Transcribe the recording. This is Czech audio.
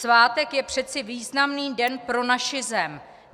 Svátek je přeci významný den pro naši zem.